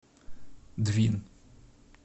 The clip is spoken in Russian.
двин